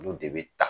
Olu de bɛ ta